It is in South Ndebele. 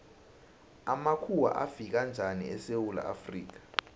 amakhuwa afika njani esewula afrika